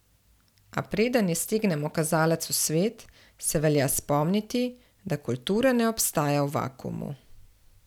A preden iztegnemo kazalec v svet, se velja spomniti, da kultura ne obstaja v vakuumu.